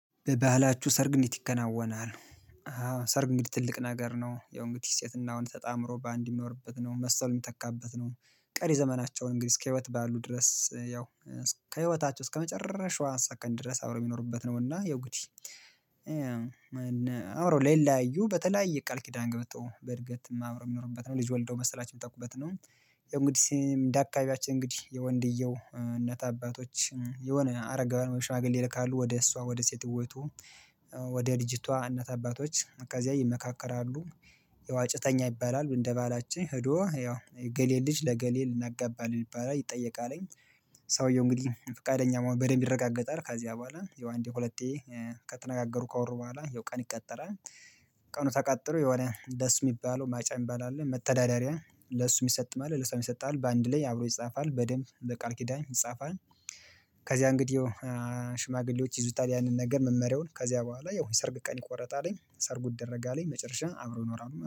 በባህላችሁ ሰርግ እንዴት ይከናወናል? ሰርግ እንዴት ትልቅ ነገር ነው ያው እንግዲህ ሴትና ወንድ ተጣምሮ በአንድ የሚኖርበት ነው መሰል የሚተካበት ነው። ቀሪ ዘመናቸውን እንግዲህ እስከ ህይወት ባሉ ድረስ ያው እስከ ህይወታቸው እስከ መጨረሻዋ ሰከንድ ድረስ ድረስ አብሮ የሚኖሩበት ነውና ያው እንግዲ። አብሮ ላይለያዩ በተለያየ ቃል ኪዳን ገብተው በእድገት አብረው የሚኖሩበት ነው ልጅ ወልደው መሰላቸውን የሚተኩበት ነው። ያው እንግዲህ እንደ አካባቢያችን እንግዲህ የወንድየው እናት አባቶች የሆነ አረጋዊ ወይም ሽማግሌ ይልካሉ ወደ እሷ ወደ ሴት ቤቱ። ወደ ልጅቷ እናት አባቶች ከዚያ ይመካከራሉ። ያው አጭተኛ ይባላሉ እንደ ባላችን ሄዶ ያው የእገሌን ልጅ ለእገሌ ልናገባ ነው ይባላል ይጠየቃል። ሰውየው እንግዲህ ፍቃደኛ መሆኑ በደንብ ይረጋገጣል ከዚያ በኃላ ያው አንዴ ሁለቴ ከተነጋገሩ ካወሩ በኋላ ያው ቀን ይቀጠራል። ቀኑ ተቀጥሮ የሆነ ደስ የሚባለው ማጫ የሚባል አለ መተዳደሪያ ለሱ የሚሰጥ ማለት ለእሷም ይሰጣል በአንድ ላይ አብሮ ይጻፋል በደንብ በቃል ኪዳን ይጻፋል። ከዚያ እንግዲህ ሽማግሌዎች ይዙታል ያንን ነገር መመሪያውን ከዚያ በኋላ ያው ሰርግ ቀን ይቆረጣል ሰርጉን ይደረጋል መጨረሻ አብረው ይኖራሉ